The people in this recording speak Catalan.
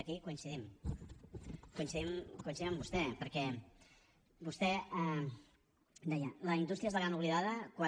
aquí hi coincidim coincidim amb vostè perquè vostè deia la indústria és la gran oblidada quan